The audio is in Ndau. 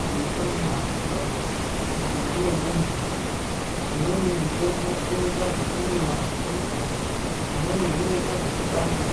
pei panda pa mutumbi we muntu umweni mutombo unoita zveku mwiwa nge mvura umweni unoita zveku baiwa.